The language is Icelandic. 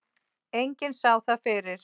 Enginn sá það fyrir.